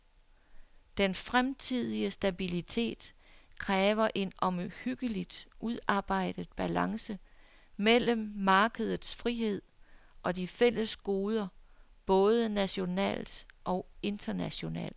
Den fremtidige stabilitet kræver en omhyggeligt udarbejdet balance mellem markedets frihed og de fælles goder både nationalt og internationalt.